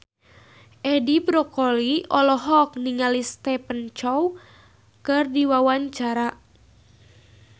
Edi Brokoli olohok ningali Stephen Chow keur diwawancara